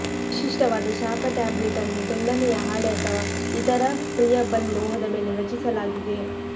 ವಿಶಿಷ್ಟವಾದ ಶಾಪ ಟ್ಯಾಬ್ಲೆಟ್ ಅನ್ನು ತೆಳ್ಳನೆಯ ಹಾಳೆ ಅಥವಾ ಇತರ ಪ್ರಿಯಬಲ್ ಲೋಹದ ಮೇಲೆ ರಚಿಸಲಾಗಿದೆ